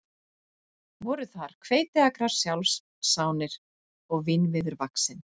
Voru þar hveitiakrar sjálfsánir og vínviður vaxinn.